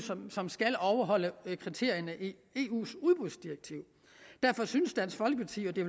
som skal overholde kriterierne i eus udbudsdirektiv derfor synes dansk folkeparti at det